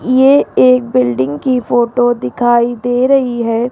ये एक बिल्डिंग की फोटो दिखाई दे रही है।